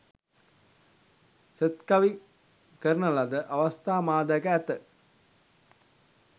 සෙත්කවි කරන ලද අවස්ථා මා දැක ඇත.